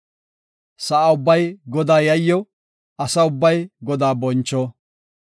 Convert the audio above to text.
Sa7a ubbay Godaa yayyo; asa ubbay Godaa boncho.